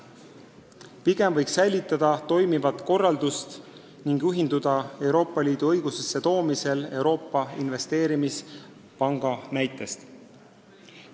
Pigem võiks hoida toimivat korraldust ning juhinduda Euroopa Liidu õigusesse toomisel Euroopa Investeerimispanga eeskujust.